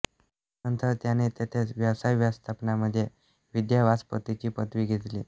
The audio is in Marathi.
त्यानंतर त्यांनी तेथेच व्यवसाय व्यवस्थापनामध्ये विद्यावाचस्पतीची पदवी घेतली